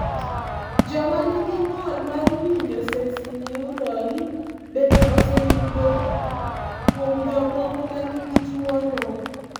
Joma nigi ng'ol mar winjo sensorineural bende oseyud kuom jomoko ma nigi tuwono.